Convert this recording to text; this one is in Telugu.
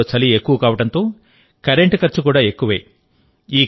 కాశ్మీర్లో చలి ఎక్కువ కావడంతో కరెంటు ఖర్చు కూడా ఎక్కువే